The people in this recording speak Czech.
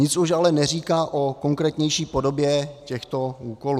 Nic už ale neříká o konkrétnější podobě těchto úkolů.